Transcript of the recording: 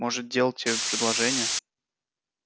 может делать тебе предложение